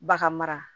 Baga mara